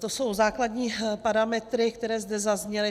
To jsou základní parametry, které zde zazněly.